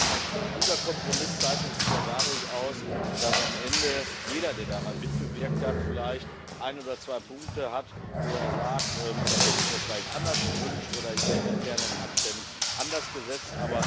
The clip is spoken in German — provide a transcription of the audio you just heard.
Ein guter Kompromiss zeichnet sich ja dadurch aus, dass am Ende jeder, der daran mitgewirkt hat, vielleicht ein oder zwei Punkte hat, wo er sagt Das hätte ich mir vielleicht anders gewünscht oder hier hätte ich gerne einen Akzent anders gesetzt.